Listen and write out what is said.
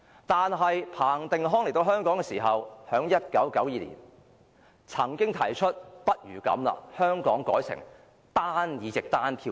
但是，彭定康來到香港時，在1992年曾提出不如把香港的制度改成單議席單票制。